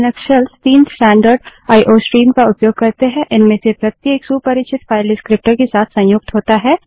Linux shells तीन standard IO iओ stream का उपयोग करते हैं इनमें से प्रत्येक सुपरिचित फाइल डिस्क्रीप्टर विवरणक के साथ संयुक्त होता है